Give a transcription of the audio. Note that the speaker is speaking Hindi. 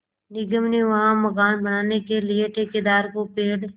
निगम ने वहाँ मकान बनाने के लिए ठेकेदार को पेड़